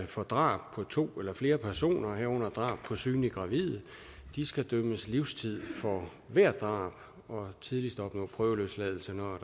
for drab på to eller flere personer herunder drab på synligt gravide skal idømmes livstid for hvert drab og tidligst opnå prøveløsladelse når